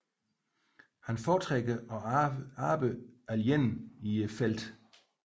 Han foretrækker at arbejde alene i felten